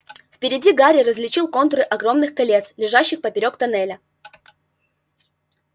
впереди гарри различил контуры огромных колец лежащих поперёк тоннеля